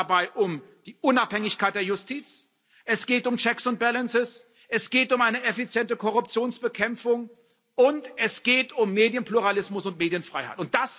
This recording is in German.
Es geht dabei um die Unabhängigkeit der Justiz, es geht um checks and balances, es geht um eine effiziente Korruptionsbekämpfung, und es geht um Medienpluralismus und Medienfreiheit.